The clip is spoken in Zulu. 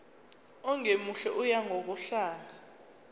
ongemuhle oya ngokudlanga